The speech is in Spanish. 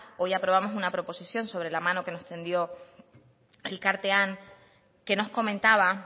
hoy aprobamos una proposición sobre la mano que nos tendió elkartean que nos comentaba